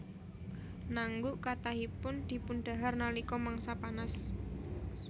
Naengguk kathahipun dipundhahar nalika mangsa panas